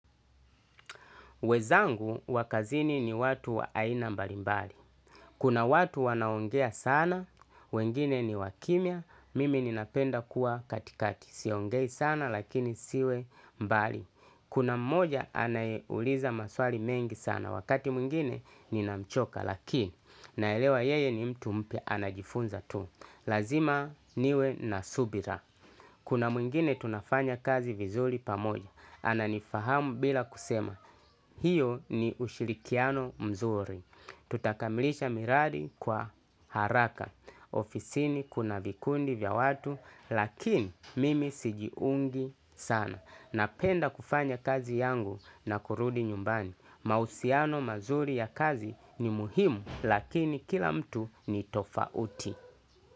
Wezangu wakazini ni watu wa aina mbali mbali. Kuna watu wanaongea sana, wengine ni wakimia, mimi ninapenda kuwa katikati. Siongei sana lakini siwe mbali. Kuna mmoja anaeuliza maswali mengi sana wakati mwingine ninamchoka lakini naelewa yeye ni mtu mpia anajifunza tu. Lazima niwe nasubira. Kuna mwingine tunafanya kazi vizuri pamoja. Ana nifahamu bila kusema. Hiyo ni ushirikiano mzuri. Tutakamilisha miradi kwa haraka. Ofisini kuna vikundi vya watu lakini mimi sijiungi sana. Napenda kufanya kazi yangu na kurudi nyumbani. Mausiano mazuri ya kazi ni muhimu lakini kila mtu ni tofauti.